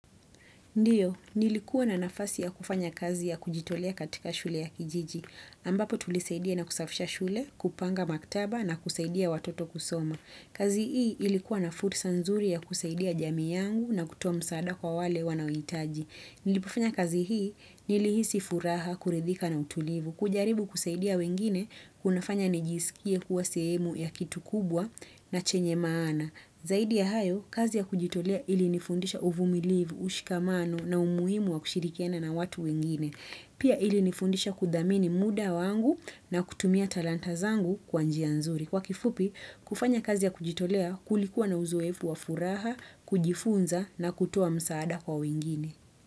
Ndio, nilikuwa na nafasi ya kufanya kazi yakujitolea katika shule ya kijiji. Ambapo tulisaidia na kusafisha shule, kupanga maktaba na kusaidia watoto kusoma. Kazi hii ilikuwa na fursa nzuri ya kusaidia jamii yangu na kutoa msaada kwa wale wanaohitaji. Nilipofanya kazi hii, nilihisi furaha, kuridhika na utulivu. Kujaribu kusaidia wengine, kunafanya nijisikie kuwa sehemu ya kitu kubwa na chenye maana. Zaidi ya hayo, kazi ya kujitolea ilinifundisha uvumilivu, ushikamano na umuhimu wa kushirikiana na watu wengine. Pia ilinifundisha kudhamini muda wangu na kutumia talanta zangu kwa njia nzuri. Kwa kifupi, kufanya kazi ya kujitolea kulikuwa na uzoefu wa furaha, kujifunza na kutoa msaada kwa wengine.